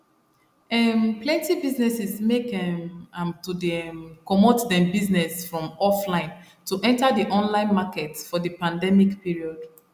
um plenty businesses make um am to dey um comot them business from offline to enter the online market for the pandemic period